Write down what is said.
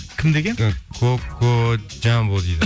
кім деген кокоджамбо дейді